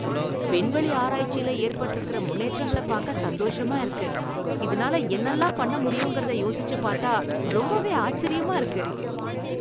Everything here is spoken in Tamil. விண்வெளி ஆராய்ச்சியில ஏற்பட்டிருக்கிற முன்னேற்றங்களை பார்க்க சந்தோஷமா இருக்கு. இதனால என்னால்லாம் பண்ண முடியுங்கறத யோசிச்சு பாத்தா ரொம்பவே ஆச்சரியமா இருக்கு.